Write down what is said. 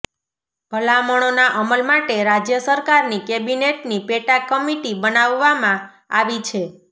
ભલામણોના અમલ માટે રાજ્ય સરકારની કેબિનેટની પેટા કમિટી બનાવવામાં આવી છે